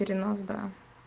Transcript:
перенос да